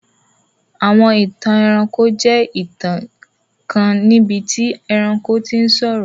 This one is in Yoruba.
Àwọn ìtàn ẹranko jẹ ìtàn kan níbití ẹranko ti sọ̀rọ̀.